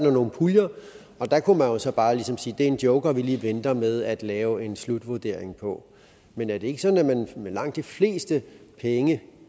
nogle puljer og der kunne man jo så bare ligesom sige at det er en joker vi lige venter med at lave en slutvurdering på men er det ikke sådan at man med langt de fleste penge